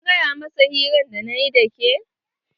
Kin gaya masa hirar da nayi da ke?